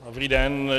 Dobrý den.